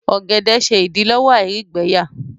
ògèdè ṣe idilọwọ àìrígbẹyà